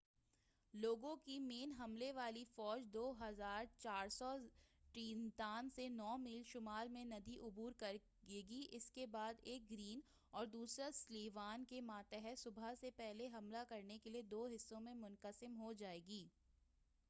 2,400 لوگوں کی مین حملے والی فوج ٹرینتان سے نو میل شمال میں ندی عبور کرے گی اس کے بعد ایک گرین اور دوسرا سلیوان کے ماتحت صبح سے پہلے حملہ کرنے کے لئے دو حصوں میں منقسم ہو جائے گی